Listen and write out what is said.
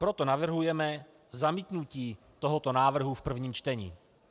Proto navrhujeme zamítnutí tohoto návrhu v prvním čtení.